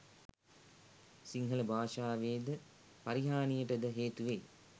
සිංහල භාෂාවේද පරිහානියටද හේතු වෙයි.